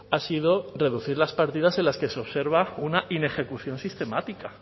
ha sido reducir las partidas en las que se observa una inejecución sistemática